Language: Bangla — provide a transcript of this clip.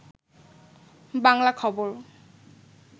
বাংলা খবর